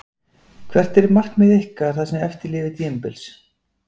Hvert er markmið ykkar það sem eftir lifir tímabils?